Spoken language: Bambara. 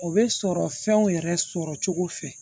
O bɛ sɔrɔ fɛnw yɛrɛ sɔrɔ cogo fɛ